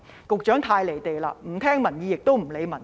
局長太"離地"了，不聽取民意，也不理民情。